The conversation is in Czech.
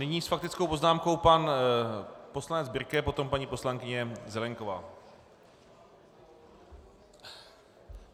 Nyní s faktickou poznámkou pan poslanec Birke, poté paní poslankyně Zelienková.